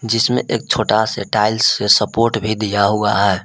जिसमें एक छोटा से टाइल्स से सपोर्ट भी दिया हुआ है।